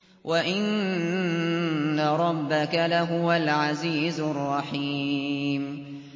وَإِنَّ رَبَّكَ لَهُوَ الْعَزِيزُ الرَّحِيمُ